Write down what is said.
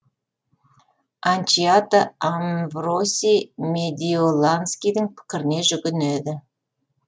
альчиато амвро сий медиоланскийдің пікіріне жүгінеді